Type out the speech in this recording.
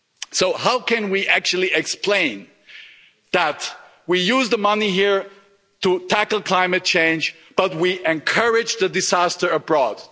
So how can we actually explain that we use the money here to tackle climate change but we encourage the disaster abroad?